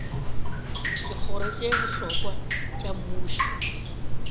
dikgoro tše bohlokwa tša mmušo